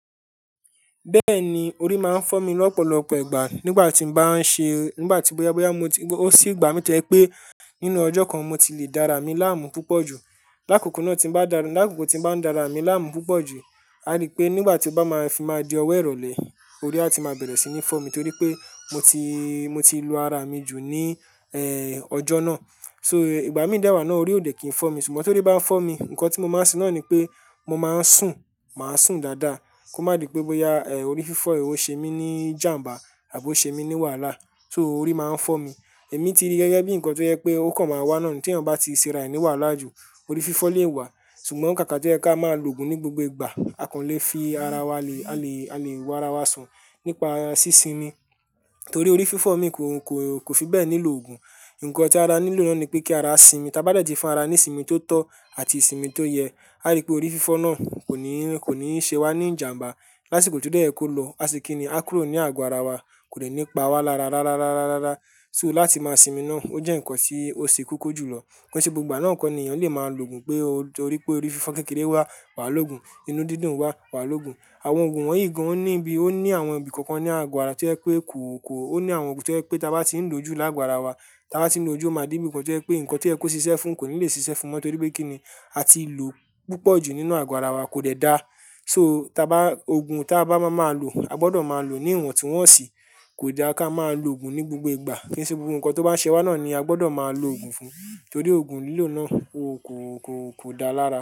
Bẹ́ẹ̀ni orí máa ń fọ́ mi lọ́pọ̀lọpọ̀ ìgbà nígbà tí mo bá ń ṣe, nígbà tí bóyá bóyá mo ti, ó sì ìgbà mí tẹ́ pé nínú ọjọ́ kan mo ti le dára mi láàmú púpọ̀ jù. Lákokò náà tí ń bá dára, lákokò tí ń bá ń dára mi láàmú púpọ̀ jù, a rí pé nígbà tí ó bá máa fi máa di ọ̀wọ́ ìrọ̀lẹ́, orí á ti máa bẹ̀rẹ̀ sí ní fọ́ mi torí pé mo ti, mo ti lu ara mi jù ní, ẹ́, ọjọ́ náà. So ìgbà mí fẹ wà náà orí ò dẹ̀ kí ń fọ́ mi ṣùgbọ́n torí bá fọ́ mi, nǹkan tí mo máa ń ṣe náà ni pé mo máa ń sùn, màá sùn dáadáa kó má di pé bóyá, ẹ́, orí fífọ́ yẹn ó ṣe mí ní ìjàǹbá àbí o ṣe mí ní wàhálà. So orí máa ń fọ́ mi. Èmi ti rí gẹ́gẹ́ bí nǹkan tó jẹ pé ó kan máa wá náà ni tí ènìyàn bá ti ṣe ara rẹ̀ ní wàhálà jù, orí fífọ́ lè wá. Ṣùgbọ́n kà ka tó yẹ ká máa lo òògùn ní gbogbo ìgbà. A kàn lè fi ara wa le, a lè, a lè wo ara wa san nípa sí sinmi torí orí fífọ́ mi kò, kò, kò fi bẹ́ẹ̀ nílò òògùn. Ǹǹkan tí ara nílò náà ni pé kí ara sinmi. Tábá dẹ̀ ti fún ara ní ìsinmi tó tọ́ àti ìsinmi tó yẹ, a rí pé orí fífọ́ náà kò ní, kò ní ṣe wá ní ìjàǹbá lásìkò tí ó dẹ́ yẹ̀ kó lọ. Aṣe kíni á kúrò ní àgọ ara wa kò dẹ́ ní pa wá lára rá rá rá rá rá rá. So láti máa sinmi náà ó jẹ́ nǹkan tí ó ṣe koko jùlọ. Kí ṣe gbogbo gbá náà kọ̀ ènìyàn lè máa lo òògùn pé orí, pé orí fífọ́ kékeré wá, wà lógun, inú dídùn wá, wà lógun. Àwọn òògùn wọ̀nyí gan ní ibi, ó ní àwọn ibi kankan ní àgọ ara tí ó yẹ pé kò, kò, ó ní àwọn ògùn tí ó yẹ pé táa bá ti ń lò ojú lágo ara wa, táa bá ti ń lo ojú ó máa dé ibi nǹkan tí ó yẹ pé nǹkan to yẹ kó ṣíṣe fún kò ní le ṣiṣẹ́ fún mọ́ torí pé kíni a ti lò púpọ̀ jù nínú àgo ara wa kò dẹ́ dáa. So táa bá, òògùn tí a bá máa máa lo, a gbọdọ̀ máa lò ó ní ìwọ̀n tí wọ́n ṣìí, kò da ká máa lo òògùn ní gbogbo ìgbà. Kí ṣe gbogbo nǹkan tó bá ń ṣẹ wá náà ni a gbọdọ̀ máa lo òògùn fún un torí òògùn lílò náà ó kò, kò, kò dáa lára.